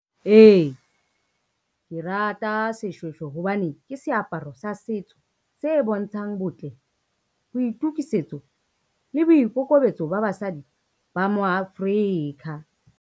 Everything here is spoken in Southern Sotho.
Ee, ke rata seshweshwe hobane ke seaparo sa setso se bontshang botle, boitukisetso le boikokobetso ba basadi ba mo Africa.